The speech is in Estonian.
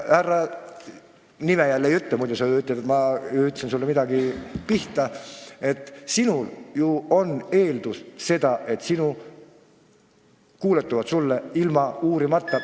Härra – nime ma jälle ei nimeta, muidu sa ütled, et ma ütlesin midagi sinu kohta –, sina ju eeldad, et sulle kuuletutakse ilma uurimata.